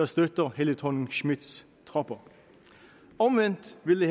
støtter fru helle thorning schmidts tropper omvendt ville